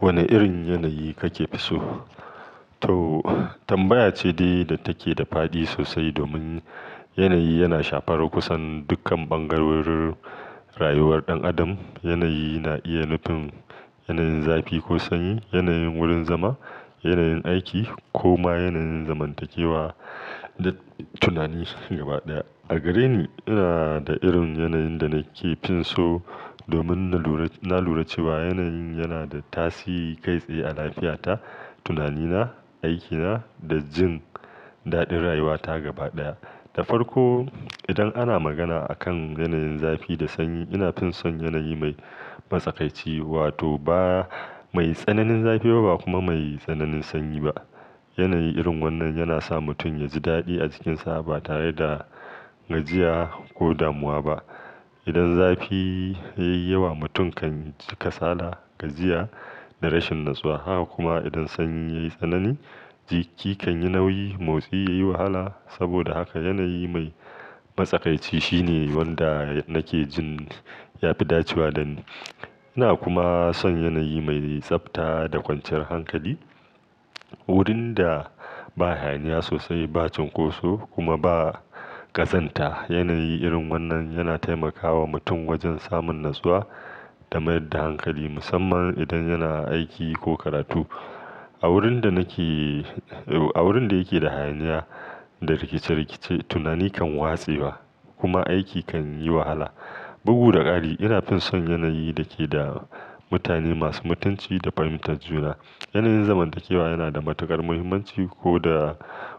Wane irin yanayi kake fi so? To, tambaya ce dai da take da faɗi sosai domin yanayi yana shafar kusan dukkan bangarorin rayuwar ɗan adam. Yanayi na iya nufin yanayin zafi ko sanyi, yanayin wurin zama, yanayin aiki, ko ma yanayin zamantakewa da tunani gaba ɗaya. A gare ni, ina da irin yanayin da nake fi so domin na lura cewa yanayin yana da tasiri kai tsaye a lafiyata, tunanina, aikina da jin daɗin rayuwata gaba ɗaya. Da farko, idan ana magana akan yanayin zafi da sanyi, ina fi son yanayi mai matsakaici, wato ba mai tsananin zafi ba kuma mai tsananin sanyi ba. Yanayi irin wannan yana sa mutum ya ji daɗi a jikinsa ba tare da gajiya ko damuwa ba. Idan zafi ya yi yawa, mutum kan ji kasala, gajiya da rashin natsuwa. Haka kuma idan sanyi ya yi tsanani, jiki kan yi nauyi, motsi ya yi wahala. Saboda haka, yanayi mai matsakaici shine wanda nake jin ya fi dacewa dani. Ina kuma son yanayi mai tsabta da kwanciyar hankali, wurin da ba hayaniya sosai, ba cinkoso kuma ba ƙazanta. Yanayi irin wannan yana taimakawa mutum wajen samun natsuwa da mayar da hankali, musamman idan yana aiki ko karatu. A wurin da yake da hayaniya da rikice rikice, tunani kan watsewa kuma aiki kan yi wahala. Bugu da ƙari, ina fi son yanayi da ke da mutane masu mutunci da fahimtar juna. Yanayin zamantakewa yana da matuƙar muhimmanci ko da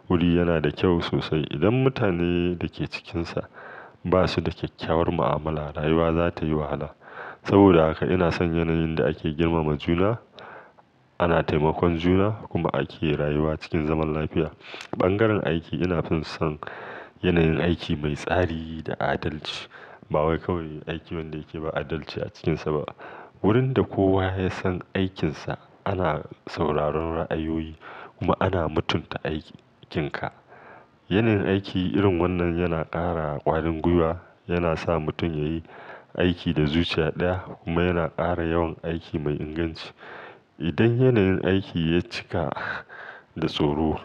wuri yana da kyau sosai. Idan mutanen da ke cikinsa ba su da kyakkyawar mu'amala, rayuwa za ta yi wahala. Saboda haka ina son yanayin da ake girmama juna, ana taimakon juna kuma ake rayuwa cikin zaman lafiya. Bangaren aiki, ina fi son yanayin aiki mai tsari da adalci. Ba wai kawai aiki wanda yake ba adalci a cikinsa ba. Wurin da kowa ya san aikinsa, ana sauraron ra'ayoyi kuma ana mutunta aikin ka. Yanayin aiki irin wannan yana ƙara ƙwarin gwiwa, yana sa mutum ya yi aiki da zuciya ɗaya kuma yana ƙara yawan aiki mai inganci. Idan yanayin aiki ya cika da tsoro,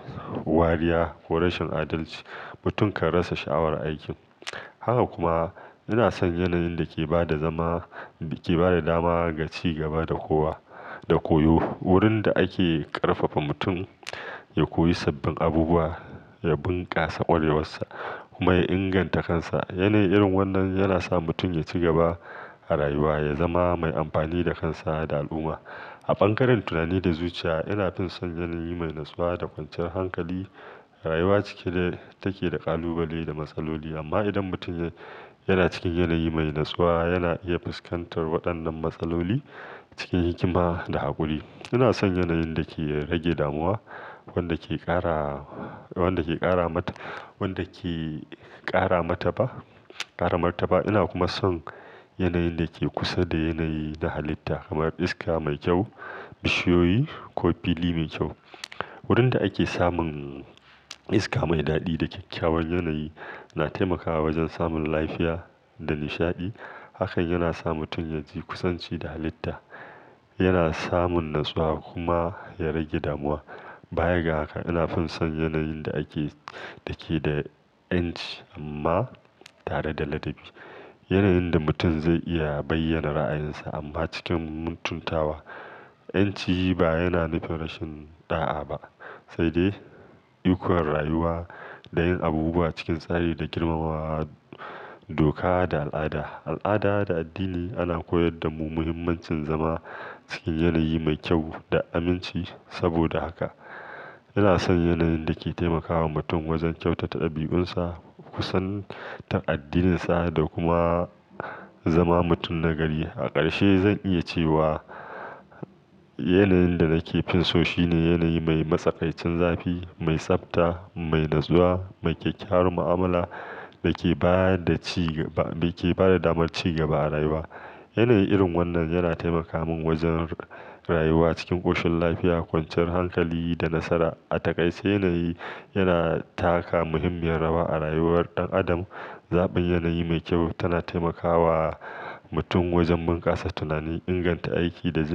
wariya ko rashin adalci, mutum kan rasa sha'awar aiki. Haka kuma ina son yanayin da ke ba da dama ga ci gaba da koyo, wurin da ake ƙarfafa mutum ya koyi sabbin abubuwa, ya bunƙasa ƙwarewarsa kuma ya inganta kansa. Yanayi irin wannan yana sa mutum ya ci gaba a rayuwa, ya zama mai amfani da kansa da al'umma. A bangaren tunani da zuciya, ina fi son yanayi mai natsuwa da kwanciyar hankali. Rayuwa cike take da ƙalubale da matsaloli amma idan mutum yana cikin yanayi mai natsuwa, yana iya fuskantar waɗannan matsaloli cikin hikima da haƙuri. Ina son yanayin da ke rage damuwa, wanda ke ƙara martaba. Ina kuma son yanayin da ke kusa da yanayi na halitta kamar iska mai kyau, bishiyoyi ko fili mai kyau. Wurin da ake samun iska mai daɗi da kyakkyawan yanayi yana taimakawa wajen samun lafiya da nishaɗi. Hakan yana sa mutum ya ji kusanci da halitta, yana samun natsuwa kuma ya rage damuwa. Baya ga haka, ina fi son yanayin da ke da 'yanci amma tare da ladabi, yanayin da mutum zai iya bayyana ra'ayinsa amma cikin muntantawa. 'Yanci ba yana nufin rashin ɗa'a ba, sai dai ikon rayuwa da yin abubuwa cikin tsari da girmama doka da al'ada. Al'ada da addini ana koyar da mu muhimmancin zama cikin yanayi mai kyau da aminci. Saboda haka ina son yanayin da ke taimakawa mutum wajen kyautata ɗabi'unsa, kusan ta addininsa da kuma zama mutum nagari. A ƙarshe, zan iya cewa yanayin da nake fi so shine yanayi mai matsakaicin zafi, mai tsabta, mai natsuwa, mai kyakkyawar mu'amala da ke ba da damar ci gaba a rayuwa. Yanayi irin wannan yana taimaka min wajen rayuwa cikin ƙoshin lafiya, kwanciyar hankali da nasara. A takais, yanayi yana taka muhimmiyar rawa a rayuwar ɗan adam. Zaɓin yanayi mai kyau yana taimakawa mutum wajen bunƙasa tunani, inganta aiki da jin.